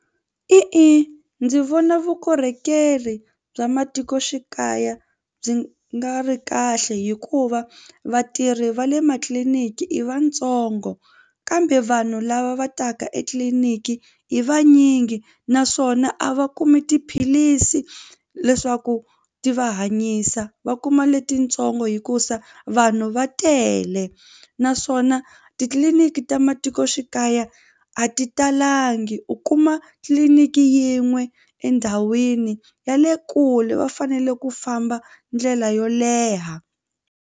E-e, ndzi vona vukorhokeri bya matikoxikaya byi nga ri kahle hikuva vatirhi va le matliliniki i vatsongo kambe vanhu lava va taka etliliniki i vanyingi naswona a va kumi tiphilisi leswaku ti va hanyisa va kuma letintsongo hikusa vanhu va tele naswona titliliniki ta matikoxikaya a ti talangi u kuma tliliniki yin'we endhawini ya le kule va fanele ku famba ndlela yo leha.